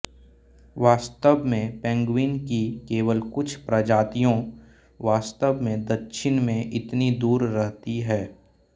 वास्तव में पेंगुइन की केवल कुछ प्रजातियों वास्तव में दक्षिण में इतनी दूर रहती हैं